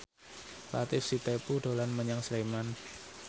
Latief Sitepu dolan menyang Sleman